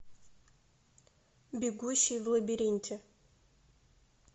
бегущий в лабиринте